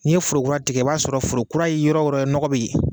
N'i ye foro kura tigɛ, i b'a sɔrɔ foro kura ye yɔrɔ yɔrɔ nɔgɔ bɛ yen